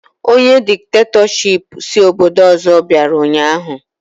Ọnye dikitatọshipụ si obodo ọzọ bịara ụnyaahụ